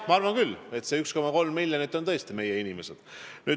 Ma arvan küll, et kõik need 1,3 miljonit on tõesti meie inimesed.